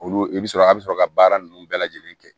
Olu i bɛ sɔrɔ a bɛ sɔrɔ ka baara ninnu bɛɛ lajɛlen kɛ